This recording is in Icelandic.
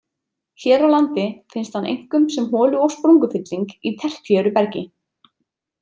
Hér á landi finnst hann einkum sem holu- og sprungufylling í tertíeru bergi.